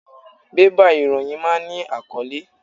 Bébà ìròyìn máa ń ní àkọ́lé.